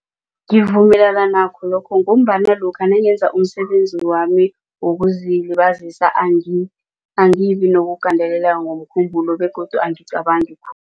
Ngivumelana nakho lokho ngombana lokha nangenza umsebenzami wokuzilibazisa angibi nokugandeleleka ngokomkhumbulo begodu angicabangi